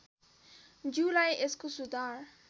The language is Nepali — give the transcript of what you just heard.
ज्यूलाई यसको सुधार